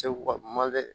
Segu ka ma dɛ